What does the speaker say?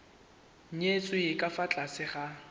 nyetswe ka fa tlase ga